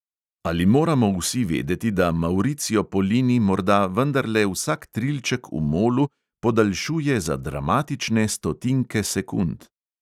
Ali moramo vsi vedeti, da mauricio polini morda vendarle vsak trilček v molu podaljšuje za dramatične stotinke sekund?